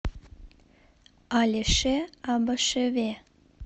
алеше абашеве